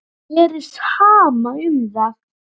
Mér er sama um það.